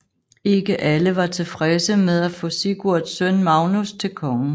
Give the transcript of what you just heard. Ikke alle var tilfredse med at få Sigurds søn Magnus til konge